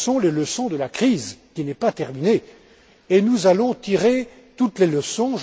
Ce sont les leçons de la crise, qui n'est pas terminée, et nous allons tirer toutes les leçons.